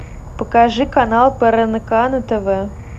покажи канал прнк на тв